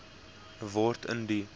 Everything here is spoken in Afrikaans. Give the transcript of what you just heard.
word in die